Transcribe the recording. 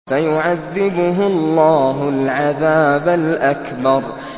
فَيُعَذِّبُهُ اللَّهُ الْعَذَابَ الْأَكْبَرَ